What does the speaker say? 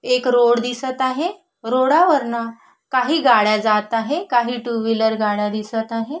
एक रोड दिसत आहे रोडावरन काही गाड्या जात आहे काही टू व्हीलर गाड्या दिसत आहे.